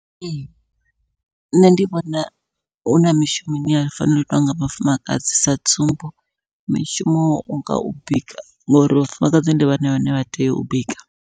Ee nṋe ndi vhona huna mishumo ine ya fanela u itwa nga vhafumakadzi sa tsumbo, mishumo wa unga u bika ngori vhafumakadzi ndi vhone vhane vha tea u bika.